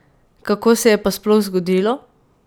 Kako se je pa sploh zgodilo?